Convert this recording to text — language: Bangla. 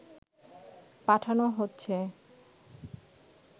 পাঠানো হচ্ছে